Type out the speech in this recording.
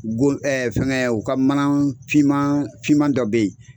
Go fɛngɛ o ka mana finman finman dɔ bɛ yen,